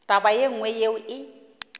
taba ye nngwe yeo e